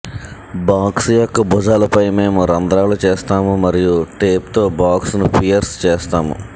box యొక్క భుజాలపై మేము రంధ్రాలు చేస్తాము మరియు టేప్తో బాక్స్ను పియర్స్ చేస్తాము